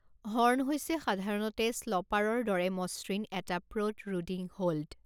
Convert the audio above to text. Horn হৈছে সাধাৰণতে স্লপাৰৰ দৰে মসৃণ এটা প্ৰ'ট্ৰুডিং হোল্ড।